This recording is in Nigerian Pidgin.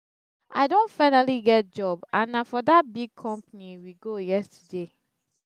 i don finally get job and na for dat big company we go yesterday